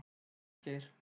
Hólmgeir